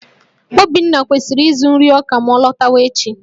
Obinna kwesịrị ịzụ nri ọka ma ọ lọtawa echi